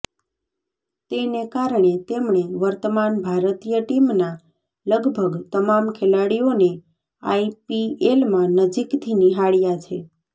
તેને કારણે તેમણે વર્તમાન ભારતીય ટીમના લગભગ તમામ ખેલાડીઓને આઈપીએલમાં નજીકથી નિહાળ્યા છે